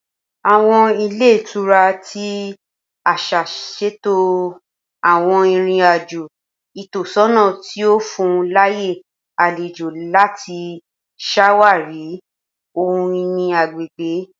Awọn ilé ìtura ti aṣa ṣeto awọn irin-ajo itọsọna ti o fun laaye alejo lati ṣawari ohun-ini agbegbe